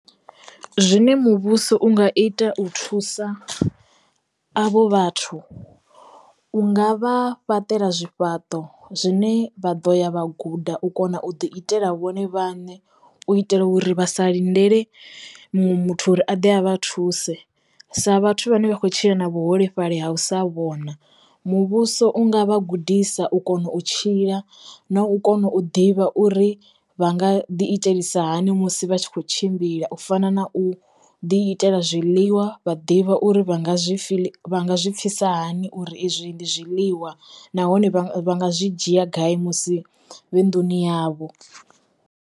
Zwine muvhuso u nga ita u thusa avho vhathu unga vha fhaṱela zwifhaṱo zwine vha ḓo ya vha guda u kona u ḓi itela vhone vhaṋe u itela uri vha sa lindele muṅwe muthu uri a ḓe a vha thuse sa vhathu vhane vha khou tshila na vhuholefhali ha u sa vhona muvhuso u nga vha gudisa u kona u tshila na u kona u ḓivha uri vha nga ḓi itisa hani musi vha tshi kho tshimbila u fana na u ḓi itela zwiḽiwa vha ḓivha uri vha nga zwi fil vha zwi pfisa hani uri izwi ndi zwiḽiwa nahone vha nga zwi dzhia gai musi vhe nduni yavho.